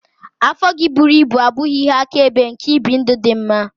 Afọ gị buru ibu abụghị ihe akaebe nke ibi ndụ dị mma.